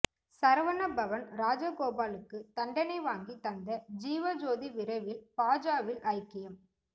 சரவண பவன் ராஜகோபாலுக்கு தண்டனை வாங்கி தந்த ஜீவஜோதி விரைவில் பாஜவில் ஐக்கியம்